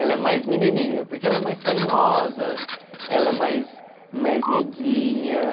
Ela é mais menininha, porque ela é mais carinhosa, ela é mais mais meiguinha.